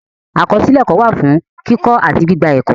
Akọsilẹ ẹkọ wa fun kikọ ati gbigba ẹkọ.